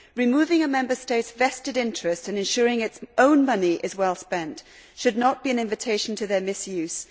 Removing a Member State's vested interest in ensuring its own money is well spent should not be an invitation to their misuse.